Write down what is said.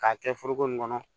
K'a kɛ foroko nin kɔnɔ